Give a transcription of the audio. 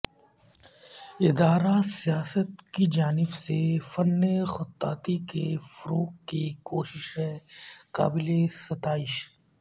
ادارہ سیاست کی جانب سے فن خطاطی کے فروغ کی کوششیں قابل ستائش